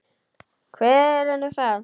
Hver er nú það?